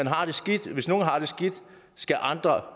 har det skidt skal andre